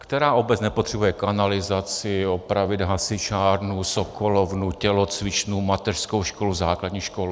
Která obec nepotřebuje kanalizaci, opravit hasičárnu, sokolovnu, tělocvičnu, mateřskou školu, základní školu?